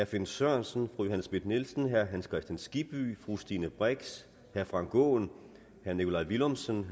finn sørensen fru johanne schmidt nielsen herre hans kristian skibby fru stine brix herre frank aaen herre nikolaj villumsen